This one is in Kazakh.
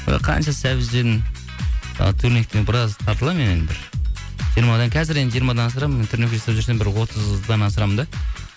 ы қанша сәбіз жедім ы турниктен біраз тартыламын енді бір жиырмадан қазір енді жиырмадан асырамын тренировка жасап жүрсем бір отыздан асырамын да